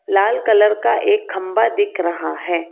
लाल colour का एक खंभा दिख रहा है।